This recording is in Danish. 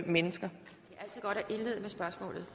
mennesker